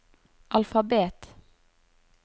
alfabet